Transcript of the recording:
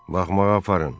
Baxmağa aparın.